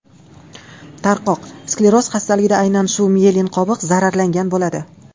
Tarqoq skleroz xastaligida aynan shu miyelin qobig‘i zararlangan bo‘ladi.